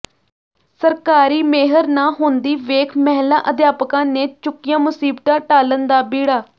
ਸਰਕਾਰੀ ਮਿਹਰ ਨਾ ਹੁੰਦੀ ਵੇਖ ਮਹਿਲਾ ਅਧਿਆਪਕਾਂ ਨੇ ਚੁੱਕਿਆ ਮੁਸੀਬਤਾਂ ਟਾਲਣ ਦਾ ਬੀੜਾ